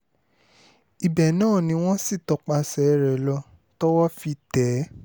ibẹ̀ náà ni wọ́n sì tọpasẹ̀ rẹ̀ lọ tọwọ́ fi tẹ̀ ẹ́